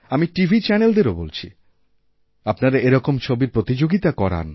আমি টিভি চ্যানেলদেরও বলছি আপনারা এরকম ছবিরপ্রতিযোগিতা করান